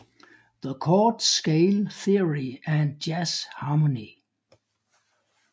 The Chord Scale Theory and Jazz Harmony